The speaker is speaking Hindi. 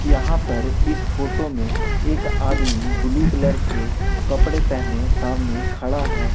यहां पर इस फोटो में एक आदमी ब्लू कलर के कपड़े पहने सामने खड़ा है।